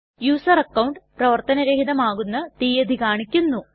user account പ്രവര്ത്തന രഹിതമാകുന്ന തീയതി കാണിക്കുന്നു